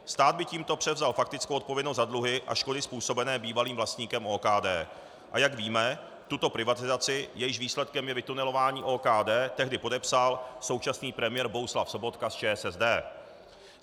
Stát by tímto převzal faktickou odpovědnost za dluhy a škody způsobené bývalým vlastníkem OKD, a jak víme, tuto privatizaci, jejímž výsledkem je vytunelování OKD, tehdy podepsal současný premiér Bohuslav Sobotka z ČSSD.